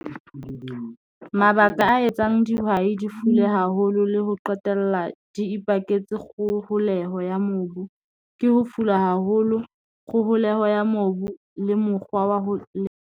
Mabaka a etsang dihwai di fule haholo le ho qetella di ipaketse kgoholeho ya mobu ke ho fula haholo kgoholeho ya mobu le mokgwa wa ho .